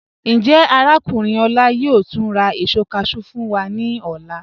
Njẹ́ Arákùnrin Ola yóò túń rà èṣọ cashew fún wa ni ọlá?